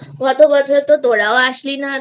গত বছর তো তোরাও আসলি না